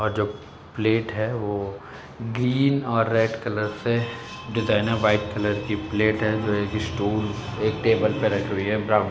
और जो प्लेट है । वो ग्रीन और रेड कलर से डिजाइनर व्हाइट कलर की प्लेट है जो एक स्टूल एक टेबल पर रखी हुई है। ब्राउन --